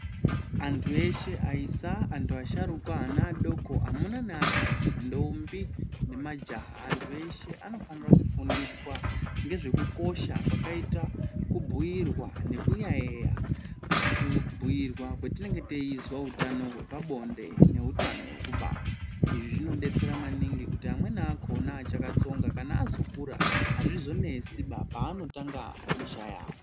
Antu eshe aisa, antu asharuka, ana adoko, amuna neakadzi, ndombi nemajaha, antu eshe anofanira kufundiswa ngezvekukosha kwakaita kubhuyirwa nekuyaiya kubhuyirwa kwetinenge teizwa utano hwepabonde neutano hwekubara. Izvi zvinodetsera maningi kuti amweni akona achakatsonga hazvizonesiba, paanotanga misha yawo.